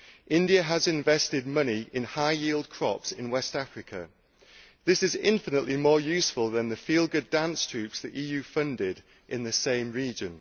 India has invested money in high yield crops in West Africa. This is infinitely more useful than the feel good dance troupes the EU funded in the same region.